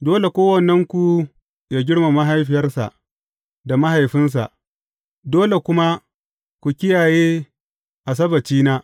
Dole kowannenku yă girmama mahaifiyarsa da mahaifinsa, dole kuma ku kiyaye Asabbacina.